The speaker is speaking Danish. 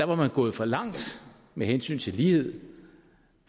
var gået for langt med hensyn til lighed